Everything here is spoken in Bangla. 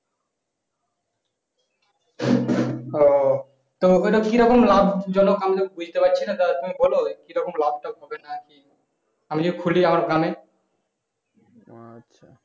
ও তো ওটা কিরকম ল্যাব জনক আমরা বুঝতে পারছিনা তা তুমি বোলো কিরকম লাভ টাভ হবে নাকি আমি যদি খুলি আমার গ্রাম এ